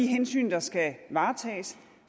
hensyn der skal tages